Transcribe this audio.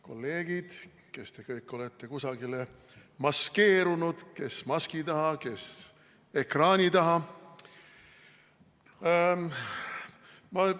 Kolleegid, kes te kõik olete kusagile maskeerunud, kes maski taha, kes ekraani taha!